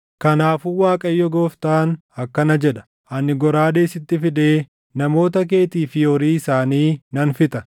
“ ‘Kanaafuu Waaqayyo Gooftaan akkana jedha: Ani goraadee sitti fidee namoota keetii fi horii isaanii nan fixa.